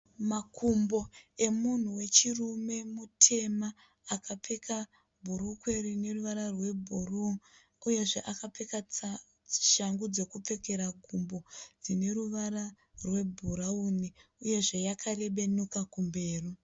Makumbo emunhu wechirume mutema akapfeka bhurukwe rine ruvara rwebhuruu uyezve akapfeka shangu dzekupfekera gumbo dzine ruvara rwebhurawuni uyezve yakarebenuka kumberi.